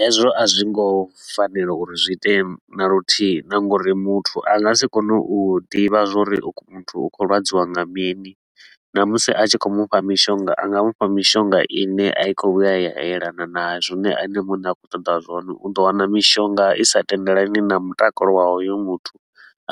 Hezwo a zwi ngo fanela uri zwi itee na luthihi na nga uri muthu a nga si kone u ḓivha zwa uri uyu muthu u khou lwadziwa nga mini. Namusi a tshi khou mufha mishonga, a nga mufha mishonga i ne a i khou vhuya ya elana na zwine ene muṋe a khou ṱoḓa zwone. U ḓo wana mishonga i sa tendelani na mutakalo wa hoyo muthu,